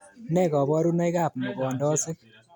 Ne koborunoikab mogondosoik